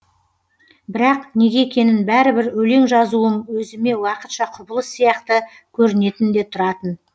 бірақ неге екенін бәрібір өлең жазуым өзіме уақытша құбылыс сияқты көрінетін де тұратын